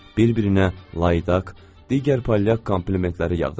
Bir-birinə layidaq, digər palyaq komplimentləri yağdırırdılar.